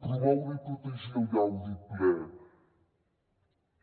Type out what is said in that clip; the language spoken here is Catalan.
promoure i protegir el gaudi ple